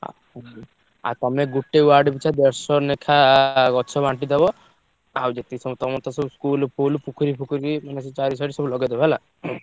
ଆ ଆଉ ତମେ ଗୋଟେ ward ପିଛା ଦଶ ନେଖା ଗଛ ବାଣ୍ଟିଦବ। ଆଉ ଯେତେ ସବୁ ତମର ତ ସବୁ school ଫୁଲ୍ ପୋଖରୀ ଫୋଖରୀ ମାନେ ସେ ଚାରିଆଡେ ସବୁ ଲଗେଇଦବ ହେଲା।